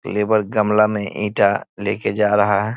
Labour गमला में ईंटा लेके जा रहा है।